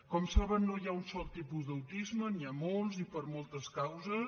com saben no hi ha un sol tipus d’autisme n’hi ha molts i per moltes causes